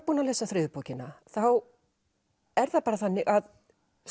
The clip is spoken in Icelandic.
búinn að lesa þriðju bókina þá er það bara þannig að